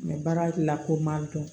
Mɛ baara la ko ma dɔn